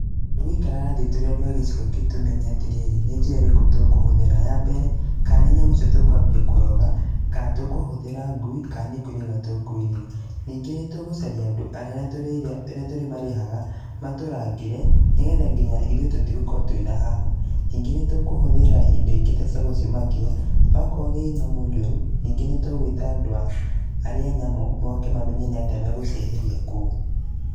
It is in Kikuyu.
Tũgũikara thĩ tũrĩ andũ a gĩcigo gitũ tũmenye atĩ rĩrĩ, nĩ njĩra ĩrĩkũ tũkũhũthĩra. Ya mbere, ka nĩ nyamũ icio tũkũambia kũroga, ka tũkũhũthĩra ngui, ka nĩkũiriga tũkũiriga. Ningĩ nĩ tũgũcaria andũ arĩa tũrĩ marĩhaga, matũrangĩre, nĩgetha ithuĩ tũtigakorwo twĩna hahũ. Ningĩ nĩ tũkũhũthĩra indo ingĩ ta ciagũcimakia. Okorwo nĩ nyamũ njũru, ningĩ nĩ tũgũita andũ arĩa a nyamũ moke mamenye nĩ atĩa megũcieheria kũu.